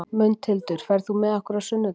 Mundhildur, ferð þú með okkur á sunnudaginn?